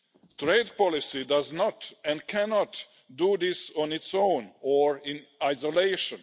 Trade policy does not and cannot do this on its own or in isolation.